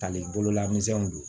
Hali bolola misɛnw don